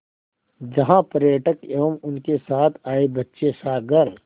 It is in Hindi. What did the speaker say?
जहाँ पर्यटक एवं उनके साथ आए बच्चे सागर